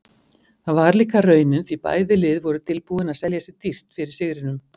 Það var líka raunin því bæði lið voru tilbúin að selja sig dýrt fyrir sigrinum.